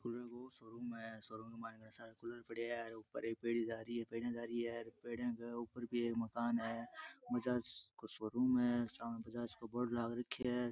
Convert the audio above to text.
Cooler को showroom है showroom के मायने कूलर पड़या है उपर एक पेड़ी जा रही है पेडिया जा रही है पेडिया के उपर भी एक मकान है बजाज को शोरूम है सामे बजाज को बोर्ड लाग राख्यो है।